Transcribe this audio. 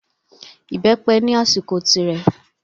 Ìbẹ́pẹ ni àsìkò tirẹ̀.